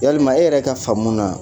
Yalima e yɛrɛ ka faamuna